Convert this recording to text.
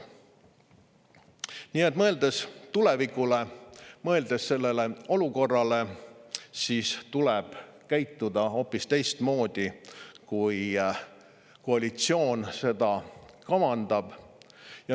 Nii et mõeldes tulevikule, mõeldes sellele olukorrale, tuleb käituda hoopis teistmoodi, kui koalitsioon kavandab.